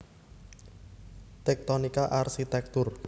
Tektonika Arsitektur